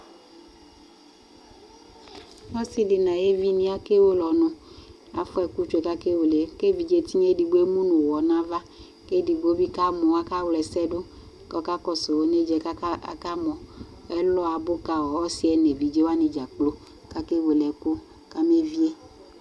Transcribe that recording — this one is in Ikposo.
Ɔsi di nʋ ayevi akewele ɔnʋ, afua ɛkʋ tsue ka akewele, kʋ evidze tinya edigbo ɛmu nʋ ʋwɔ nava, kʋ edigbo bi kamɔ, akawlɛsɛ dʋ, kɔkakɔsʋ onedza yɛ kʋ akamɔ Ɛlɔ abʋ ka ɔsi yɛ nʋ evidze wani dza kplo, kaka wele ɛkʋ kabevie